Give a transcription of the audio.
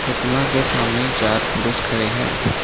प्रतिमा के सामने चार पुरुष खड़े हैं।